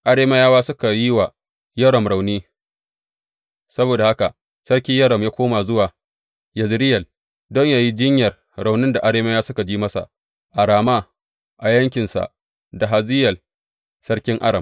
Arameyawa suka yi wa Yoram rauni; saboda haka Sarki Yoram ya koma zuwa Yezireyel don yă yi jinyar raunin da Arameyawa suka ji masa a Rama a yaƙinsa da Hazayel sarkin Aram.